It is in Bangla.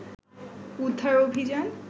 উদ্ধার অভিযান